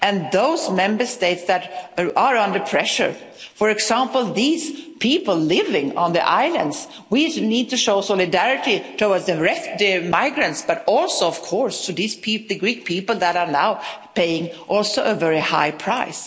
Those Member States that are under pressure for example, these people living on the islands we need to show solidarity towards the migrants but also, of course, to the Greek people, who are now paying also a very high price.